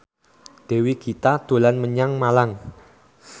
Dewi Gita dolan menyang Malang